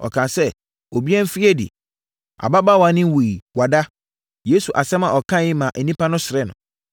ɔkaa sɛ, “Obiara mfiri adi. Ababaawa no nwuiɛ. Wada!” Yesu asɛm a ɔkaeɛ yi maa nnipa no seree no.